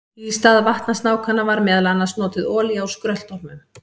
Í stað vatnasnákanna var meðal annars notuð olía úr skröltormum.